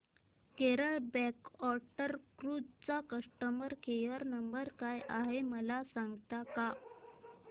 Kerala backwater cruise चा customer care number काय आहे मला सांगता का